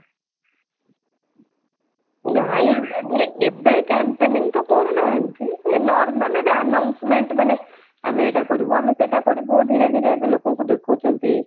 ନାଇ ଆମର ଏବେ campaigning ତ କରୁନାହାନ୍ତି ଏ normal ଏବେ announcement ମାନେ ଆମେ ଏଇଟା କରିବୁ ଆମେ ସେଇଟା କରିବୁ ଧୀରେ ଧୀରେ ଲୋକଙ୍କୁ ଦେଖଉଛନ୍ତି